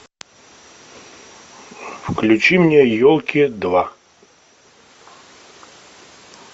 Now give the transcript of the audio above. включи мне елки два